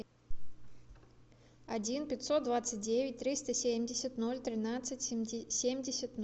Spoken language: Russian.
один пятьсот двадцать девять триста семьдесят ноль тринадцать семьдесят